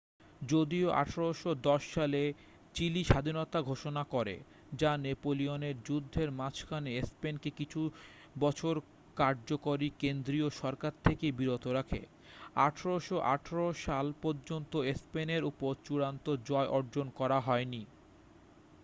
যদিও ১৮১০ সালে চিলি স্বাধীনতা ঘোষণা করে যা নেপোলিয়নের যুদ্ধের মাঝখানে স্পেন কে কিছু বছর কার্যকরী কেন্দ্রীয় সরকার থেকে বিরত রাখে ১৮১৮ সাল পর্যন্ত স্পেনের উপর চূড়ান্ত জয় অর্জন করা হয়নি।